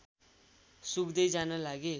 सुक्दै जान लागे